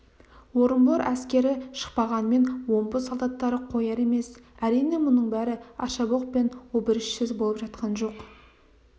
орынбор әскері шықпағанмен омбы солдаттары қояр емес әрине мұның бәрі аршабоқ пен обырішсіз болып жатқан жоқ